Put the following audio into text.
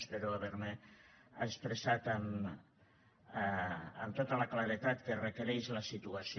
espero haver me expressat amb tota la claredat que requereix la situació